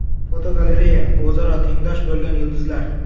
Fotogalereya: O‘zaro tengdosh bo‘lgan yulduzlar.